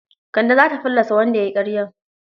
Kande za ta fallasa wanda ya yi ƙaryar.